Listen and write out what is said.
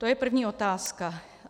To je první otázka.